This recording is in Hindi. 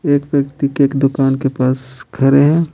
एक व्यक्ति के एक दुकान के पास खड़े है।